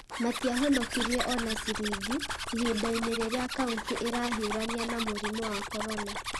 Matiahonokirie o na ciringi , ihinda-inĩ rĩrĩa kauntĩ ĩrahiũrania na mũrimũ wa Korona.